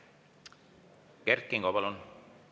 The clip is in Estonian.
Kert Kingo, palun!